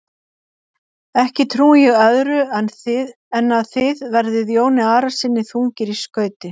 Ekki trúi ég öðru en að þið verðið Jóni Arasyni þungir í skauti.